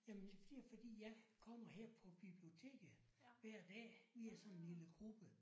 Jamen det er fordi fordi jeg kommer her på biblioteket hver dag vi er sådan en lille gruppe